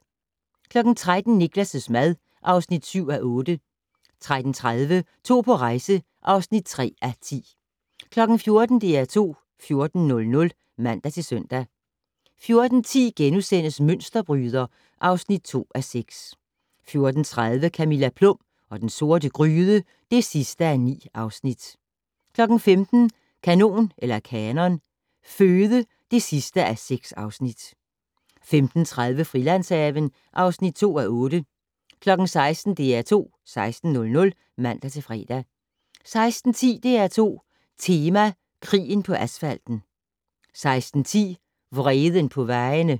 13:00: Niklas' mad (7:8) 13:30: To på rejse (3:10) 14:00: DR2 14:00 (man-søn) 14:10: Mønsterbryder (2:6)* 14:30: Camilla Plum og den sorte gryde (9:9) 15:00: Kanon Føde (6:6) 15:30: Frilandshaven (2:8) 16:00: DR2 16:00 (man-fre) 16:10: DR2 Tema: Krigen på asfalten 16:10: Vreden på vejene